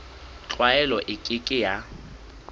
tlwaelo e ke ke ya